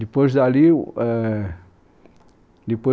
Depois dali o, ãh ... Depois